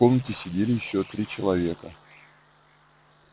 в комнате сидели ещё три человека